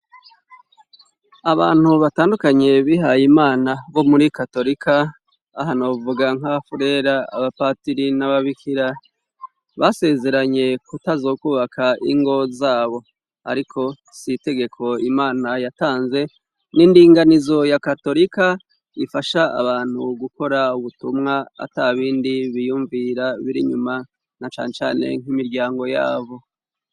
Abantu batandukanye bihaye imana bo muri katorika, aha novuga nk'abafurera, abapatiri n'ababikira. Basezeranye kutazokubaka ingo zabo ariko si itegeko Imana yatanze, n'indinganizo ya katorika ifasha abantu gukora ubutumwa atabindi biyumvira biri nyuma na cane cane nk'imiryango yabo.